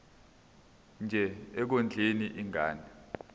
nje ekondleni ingane